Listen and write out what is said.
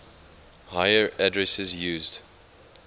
higher addresses used